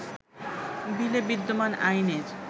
বিলে বিদ্যমান আইনের